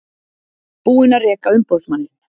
Búin að reka umboðsmanninn